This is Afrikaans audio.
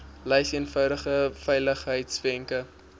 lys eenvoudige veiligheidswenke